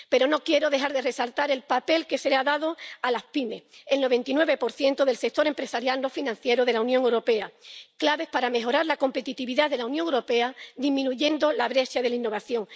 Pero no quiero dejar de resaltar el papel que se ha dado a las pymes, el 99 del sector empresarial no financiero de la Unión Europea, claves para mejorar la competitividad de la Unión Europea disminuyendo la brecha de la innovación.